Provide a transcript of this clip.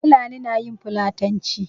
Fulani na yin fulatanci.